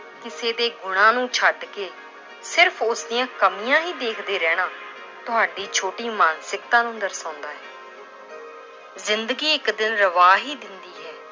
ਕਿਸੇ ਦੇ ਗੁਣਾਂ ਨੂੰ ਛੱਡ ਕੇ ਸਿਰਫ਼ ਉਸਦੀਆਂ ਕਮੀਆਂ ਹੀ ਦੇਖਦੇ ਰਹਿਣਾ ਤੁਹਾਡੀ ਛੋਟੀ ਮਾਨਸਿਕਤਾ ਨੂੰ ਦਰਸਾਉਂਦਾ ਹੈ l ਜ਼ਿੰਦਗੀ ਇੱਕ ਦਿਨ ਰਵਾ ਹੀ ਦਿੰਦੀ ਹੈ,